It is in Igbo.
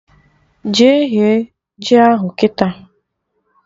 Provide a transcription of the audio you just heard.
Jee ghe ji ahụ kịta!